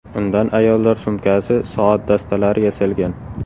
Undan ayollar sumkasi, soat dastalari yasalgan.